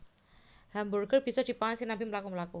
Hamburger bisa dipangan sinambi mlaku mlaku